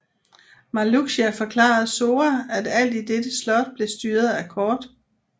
Marluxia forklarede Sora at alt i dette slot blev styret af kort